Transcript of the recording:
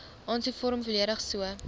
aansoekvorm volledig so